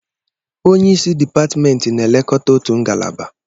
Onye isi dipatịmentị na-elekọta otu ngalaba.